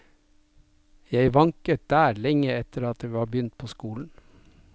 Jeg vanket der lenge etter at jeg var begynt på skolen.